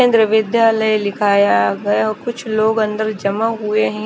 केंद्र विद्याल लिखाया गया कुछ लोग अंदर जमा हुए है।